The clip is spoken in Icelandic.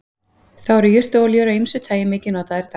Þá eru jurtaolíur af ýmsu tagi mikið notaðar í dag.